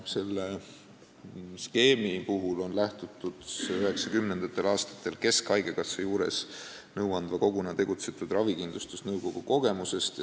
Selle skeemi puhul on lähtutud 1990. aastatel keskhaigekassa juures nõuandva koguna tegutsenud ravikindlustusnõukogu kogemusest.